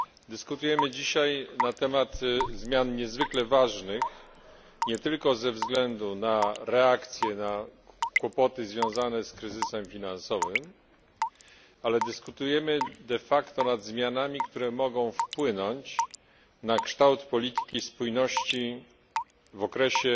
Dyskutujemy dzisiaj na temat zmian niezwykle ważnych nie tylko ze względu na reakcję na kłopoty związane z kryzysem finansowym, ale dyskutujemy nad zmianami, które mogą wpłynąć na kształt polityki spójności w okresie